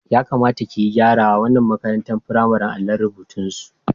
Ya kamata ki gyarawa wannan makarantar firamaren allon rurbutusu.